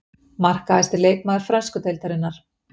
Markahæsti leikmaður frönsku deildarinnar.